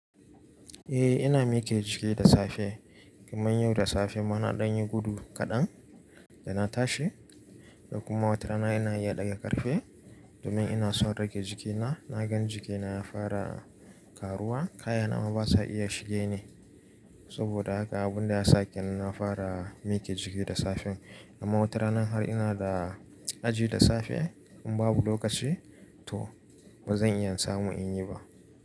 Eh ina mike jiki da safe. Kaman yau da safe ma, na dan yi gudu kaɗan, da na tashi. Da kuma watarana ina iya ɗaga ƙarfe, domin ina son rage jikina. Na gan jikina ya fara karuwa. Kaya na ma basa iya shige ni. Saboda haka abun da ya sa kean na fara mike jiki da safe. Da ma watarana har ina da aji da safe, in babu lokaci, to ba zan iya samun in yi ba.